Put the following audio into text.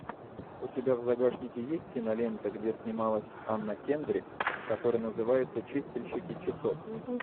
у тебя в загашнике есть кинолента где снималась анна кендрик которая называется чистильщики часов